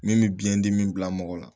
Min bɛ biyɛn dimi bila mɔgɔ la